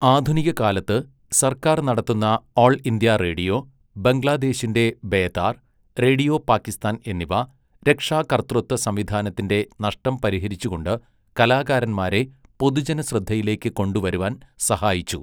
ആധുനികകാലത്ത്, സർക്കാർ നടത്തുന്ന all India radio, ബംഗ്ലാദേശിൻ്റെ ബേതാർ, റേഡിയോ പാക്കിസ്ഥാൻ എന്നിവ, രക്ഷാകർതൃത്വ സംവിധാനത്തിൻ്റെ നഷ്ടം പരിഹരിച്ചുകൊണ്ട്, കലാകാരന്മാരെ പൊതുജനശ്രദ്ധയിലേക്ക് കൊണ്ടുവരുവാൻ സഹായിച്ചു.